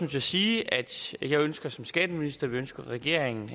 til at sige at jeg ønsker som skatteminister og det ønsker regeringen